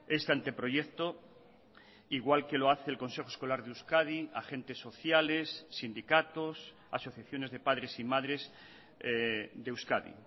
este anteproyecto igual que lo hace el consejo escolar de euskadi agentes sociales sindicatos asociaciones de padres y madres de euskadi